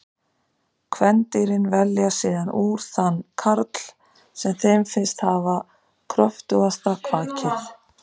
Kvendýrin velja síðan úr þann karl sem þeim finnst hafa kröftugasta kvakið.